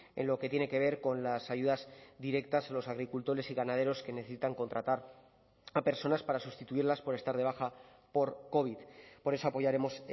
en lo que tiene que ver con las ayudas directas a los agricultores y ganaderos que necesitan contratar a personas para sustituirlas por estar de baja por covid por eso apoyaremos